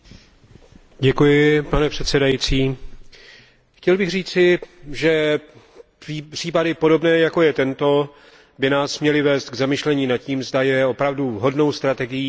Pane předsedající, chtěl bych říci, že případy, jako je tento, by nás měly vést k zamyšlení nad tím, zda je opravdu vhodnou strategií multikulturalismus.